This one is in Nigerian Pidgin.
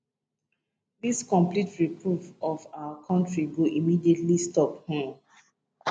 dis complete ripoff of our country go immediately stop um